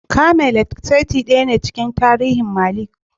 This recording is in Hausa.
Camelot saitin daya ne a cikin tarihin Merlin.